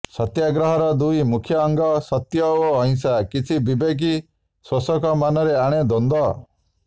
ସତ୍ୟାଗ୍ରହର ଦୁଇ ମୁଖ୍ୟ ଅଙ୍ଗ ସତ୍ୟ ଓ ଅହିଂସା କିଛି ବିବେକୀ ଶୋଷକ ମନରେ ଆଣେ ଦ୍ୱନ୍ଦ୍ୱ